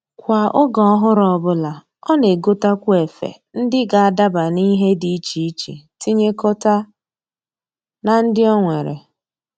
Kwa oge ọhụrụ ọbụla, ọ na-egotakwu efe ndị ga-adaba n'ihe dị iche iche tinyekọta na ndị o nwere